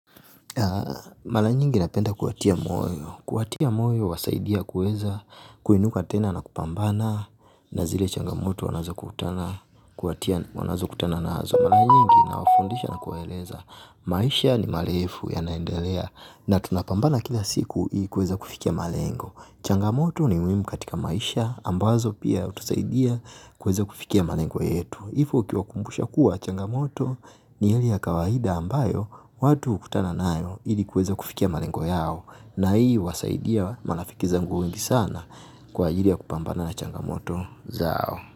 Mara nyingi napenda kuwatia moyo, kuwatia moyo huwasaidia kuweza kuinuka tena na kupambana na zile changamoto wanazokutana nazo. Mara nyingi nawafundisha na kuwaeleza maisha ni marefu yanaendelea na tunapambana kila siku ili kuweza kufikia malengo. Changamoto ni muhimu katika maisha ambazo pia hutusaidia kuweza kufikia malengo yetu. Hivyo ukiwakumbusha kuwa changamoto ni hali ya kawaida ambayo watu hukutana nayo ili kuweza kufikia malengo yao na hii huwasaidia marafiki zangu wengi sana kwa ajili ya kupambana na changamoto zao.